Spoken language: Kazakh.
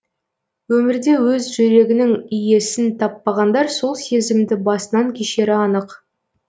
өмірде өз жүрегінің иесін таппағандар сол сезімді басынан кешері анық